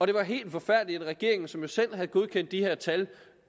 det var helt forfærdeligt at en regering som selv havde godkendt de her tal